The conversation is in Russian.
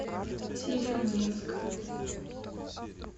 северодвинск